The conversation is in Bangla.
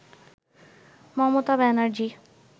মমতা ব্যানার্জী